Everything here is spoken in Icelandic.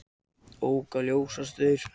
Ók á ljósastaur